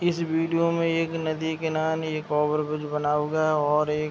इस वीडियो मे एक नदी किनारे एक ओवर ब्रिज बना हुआ है और एक --